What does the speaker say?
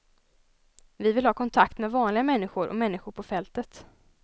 Vi vill ha kontakt med vanliga människor och människor på fältet.